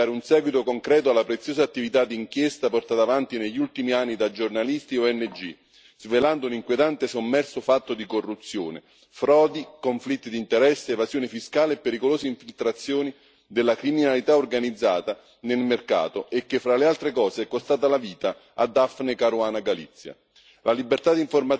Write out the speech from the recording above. Il nostro dovere è quello di dare un seguito concreto alla preziosa attività di inchiesta portata avanti negli ultimi anni da giornalisti e ONG, svelando un inquietante sommerso fatto di corruzione, frodi, conflitti di interesse, evasione fiscale e pericolose infiltrazioni della criminalità organizzata nel mercato, e che fra le altre cose è costata la vita a Daphne Caruana Galizia.